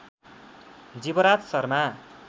Jivraj Sharma